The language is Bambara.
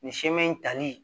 Nin siman in tali